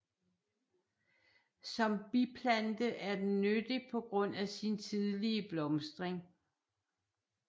Som biplante er den nyttig på grund af sin tidlige blomstring